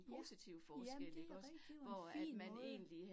Ja, jamen det rigtigt, det var en fin måde